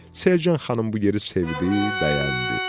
Selcan xanım bu yeri sevdi, bəyəndi.